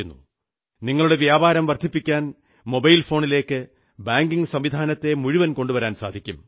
നിങ്ങളുടെ വ്യാപാരം വർധിപ്പിക്കാൻ മൊബൈൽ ഫോണിലേക്ക് ബാങ്കിംഗ് സംവിധാനത്തെ മുഴുവൻ കൊണ്ടുവരാൻ സാധിക്കും